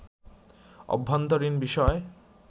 অভ্যন্তরীণ বিষয়